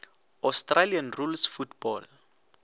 australian rules football